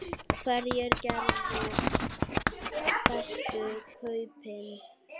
Hverjir gerðu bestu kaupin?